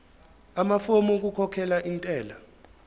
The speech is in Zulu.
amafomu okukhokhela intela